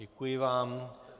Děkuji vám.